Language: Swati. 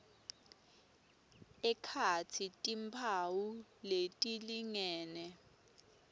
ekhatsi timphawu letilingene